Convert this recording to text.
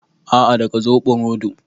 A'a, daga zoɓo rodo